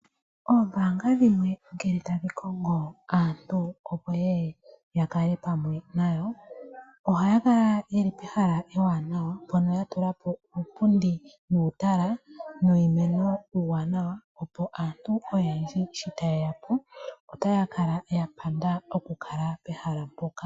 Ombaanga dhimwe ngele tadhi kongo aantu opo ye ye ya kale pamwe nayo ohaya kala ye li pehala ewanawa mpono ya tula po uupundi nuutala nuumeno uuwanawa, opo aantu oyendji sho taye ya po otaya kala ya panda oku kala pehala mpoka.